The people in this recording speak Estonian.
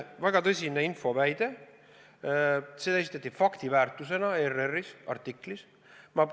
Väga tõsine infoväide, mis esitati ERR-i artiklis faktina.